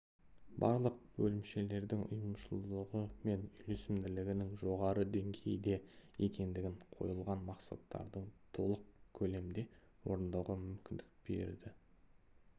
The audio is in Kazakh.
барлық бөлімшелердің ұйымшылдығы мен үйлесімділігінің жоғары деңгейде екендігін қойылған мақсаттардың толық көлемде орындауға мүмкіндік бар